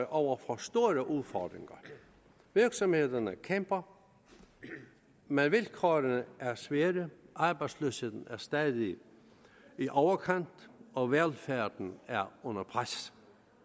over for store udfordringer virksomhederne kæmper men vilkårene er svære arbejdsløsheden er stadig i overkanten og velfærden er under pres